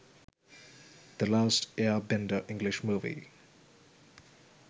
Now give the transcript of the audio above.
the last air bender english movie